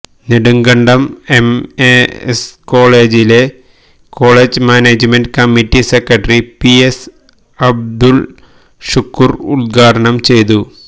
Nedumkandam M E S കോളേജില് college management committee secretary P S Abdul Shukoor ഉത്ഘാടനം ചെയ്തു